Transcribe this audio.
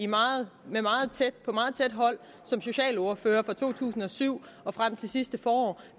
meget tæt hold som socialordfører fra to tusind og syv og frem til sidste forår